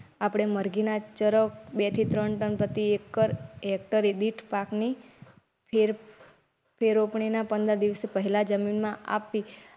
આપડે મરઘીના ચરક બે થી ત્રણ hector પાક ની ફેર ફેર રોપણનીના પંદર દીવસ પહેલા જમીનમાં આપવી.